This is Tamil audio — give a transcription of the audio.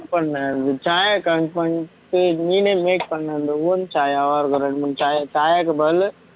கம்மி பன்னு சாயா கம்மிபண்டு நீனே make பண்ண அந்த own சாயாவும் இருக்க ரெண்டு மூணு சாயாக்கு பதிலு